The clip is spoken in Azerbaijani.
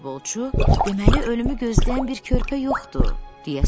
Futbolçu: "Deməli, ölümü gözləyən bir körpə yoxdur?"